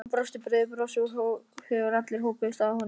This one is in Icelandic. Hann brosti breiðu brosi þegar allir hópuðust að honum.